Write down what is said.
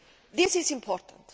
This is important.